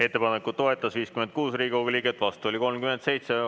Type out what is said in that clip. Ettepanekut toetas 56 Riigikogu liiget, vastu oli 37.